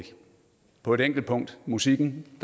på et enkelt punkt musikken